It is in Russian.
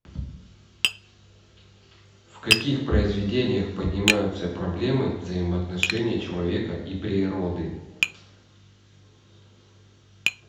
в каких произведениях поднимаются проблемы взаимоотношения человека и природы